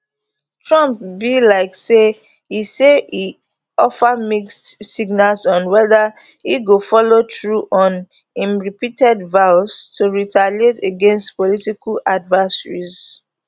trump be like say e say e offer mixed signals on whether e go follow through on im repeated vows to retaliate against political adversaries